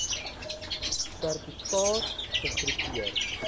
serti kaat gegroepeer